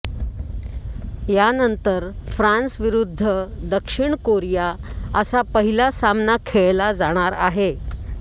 यानंतर फ्रान्स विरुद्ध दक्षिण कोरिया असा पहिला सामना खेळला जाणार आहे